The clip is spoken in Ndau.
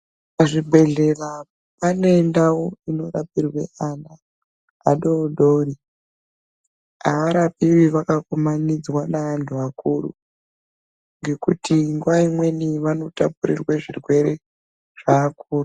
Zvibhedhlera pane ndau inorapirwe ana adoodori. Havarapiwi vakakumanidzwa ngeantu akuru ngekuti nguva imweni vanotapurirwe zvirwere zveakuru.